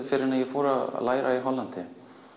fyrr en ég fór að læra í Hollandi